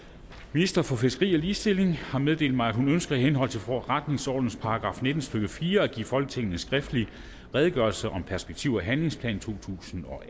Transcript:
ministeren for fiskeri og ligestilling har meddelt mig at hun ønsker i henhold til forretningsordenens § nitten stykke fire at give folketinget en skriftlig redegørelse om perspektiv og handlingsplan totusinde og